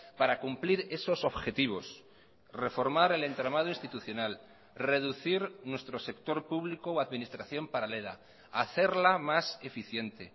para cumplir esos objetivos reformar el entramado institucional reducir nuestro sector público o administración paralela hacerla más eficiente